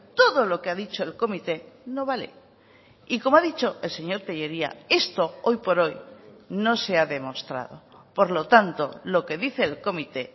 todo lo que ha dicho el comité no vale y como ha dicho el señor tellería esto hoy por hoy no se ha demostrado por lo tanto lo que dice el comité